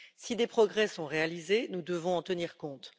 Si des progrès sont réalisés, nous devons en tenir compte.